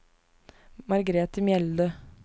Margrete Mjelde